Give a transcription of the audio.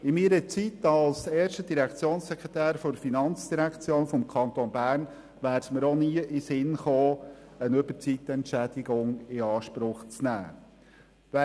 In meiner Zeit als erster Direktionssekretär der Finanzdirektion des Kantons Bern wäre es mir nie in den Sinn gekommen, eine Überzeitentschädigung in Anspruch zu nehmen.